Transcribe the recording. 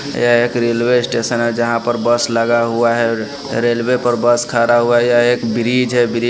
यह एक railway station है जहाँ पर बस लगा हुआ है रेलवे पर बस खड़ा हुआ है यह एक ब्रिज है ब्रि --